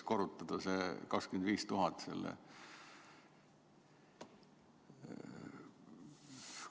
Kas seda 25 000 tuleb siis korrutada?